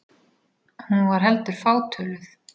Hún var heldur fátöluð.